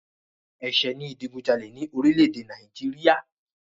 Ẹ̀ṣẹ̀ ni ìdìgunjalè ní orílẹ̀-èdè Nàìjíríà.